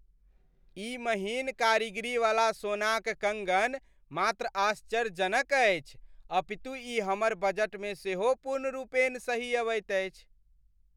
ई महीन कारीगरी वाले सोनाक कङ्गन मात्र आश्चर्यजनक अछिअछि अपितु ई हमर बजटमे सेहो पूर्णरूपेण सही अबैत अछि।